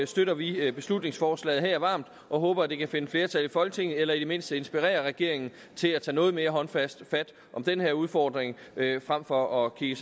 støtter vi beslutningsforslaget varmt og håber at det kan finde flertal i folketinget eller i det mindste inspirere regeringen til at tage noget mere håndfast fat om den her udfordring frem for at kigge